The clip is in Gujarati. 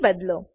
થી બદલો